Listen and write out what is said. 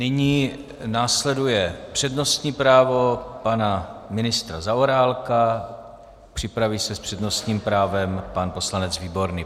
Nyní následuje přednostní právo pana ministra Zaorálka, připraví se s přednostním právem pan poslanec Výborný.